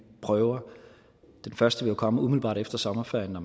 prøver den første vil komme umiddelbart efter sommerferien når